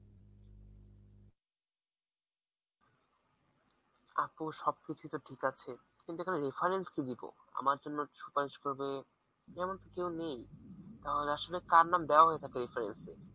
আপু সব কিছুই তো ঠিক আছে কিন্তু এখানে reference কি দিবো? আমার জন্য সুপারিশ করবে এমন তো কেউ নেই; তাহলে আসলে কার নাম দেওয়া হয়ে থাকে reference এ?